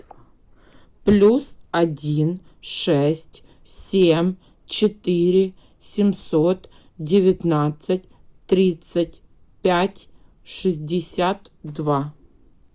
плюс один шесть семь четыре семьсот девятнадцать тридцать пять шестьдесят два